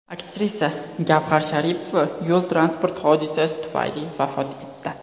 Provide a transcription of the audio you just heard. Aktrisa Gavhar Sharipova yo‘l transport hodisasi tufayli vafot etdi .